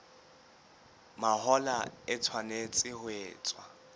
mahola e tshwanetse ho etswa